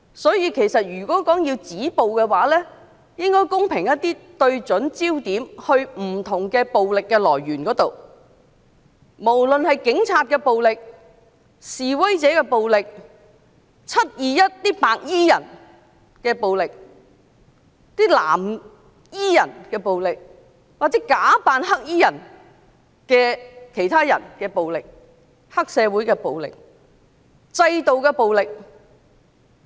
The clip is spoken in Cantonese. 所以，如果要止暴，我們應該公平一些對準焦點，指向不同的暴力來源，不論是警察的暴力、示威者的暴力、"七二一"白衣人的暴力、藍衣人的暴力、其他人假扮黑衣人的暴力、黑社會的暴力及制度的暴力。